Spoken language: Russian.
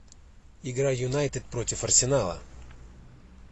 игра юнайтед против арсенала